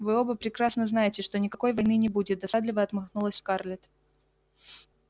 вы оба прекрасно знаете что никакой войны не будет досадливо отмахнулась скарлетт